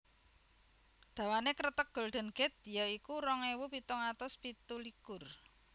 Dawané Kreteg Golden Gate ya iku rong ewu pitung atus pitu likur